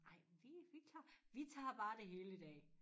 Ej vi vi klar vi tager bare det hele i dag